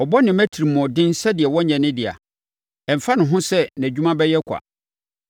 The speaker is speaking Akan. Ɔbɔ ne mma atirimuɔden sɛdeɛ wɔnnyɛ ne dea; ɛmfa ne ho sɛ nʼadwuma bɛyɛ kwa,